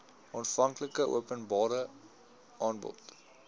aanvanklike openbare aanbod